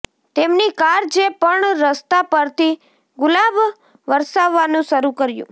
તેમની કાર જે પણ રસ્તા પરથી ગુલાબ વરસાવવાનું શરૂ કર્યું